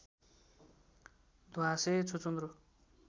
ध्वाँसे छुचुन्द्रो